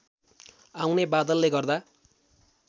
आउने बादलले गर्दा